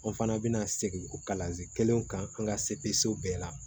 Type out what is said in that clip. An fana bɛna segin kalanso kelen kan an ka sebeso bɛɛ la